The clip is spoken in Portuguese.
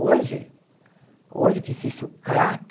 Hoje, hoje que existe o crack,